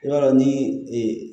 I b'a dɔn ni ee